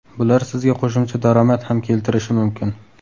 Bular sizga qo‘shimcha daromad ham keltirishi mumkin.